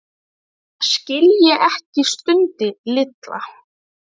Þetta skil ég ekki stundi Lilla.